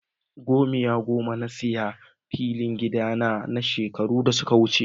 Gomiya goma na sayi filin gida na shekaru da suka wuce.